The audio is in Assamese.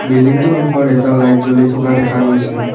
বিল্ডিংটোৰ মুখৰ এটা লাইট জ্বলি থকা দেখা গৈছে।